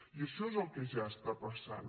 i això és el que ja està passant